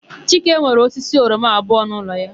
Chike nwere osisi oroma abụọ n'ụlọ ya.